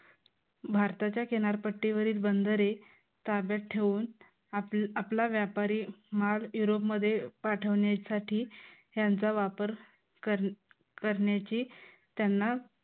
भारताच्या किनारपट्टीवरील बंदरे ताब्यात ठेवून, आपला व्यापारी माल युरोपमध्ये पाठवण्यासाठी यांचा वापर करण्याची त्यांना